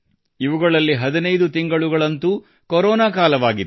ಇವುಗಳಲ್ಲಿ 15 ತಿಂಗಳುಗಳಂತೂ ಕೊರೋನಾ ಕಾಲವಾಗಿತ್ತು